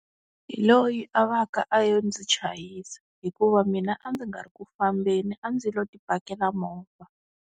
Hi loyi a va ka a yo ndzi chayisa hikuva mina a ndzi nga ri ku fambeni a ndzi lo ti pakela movha.